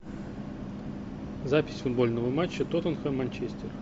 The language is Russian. запись футбольного матча тоттенхэм манчестер